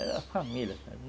A família, sabe?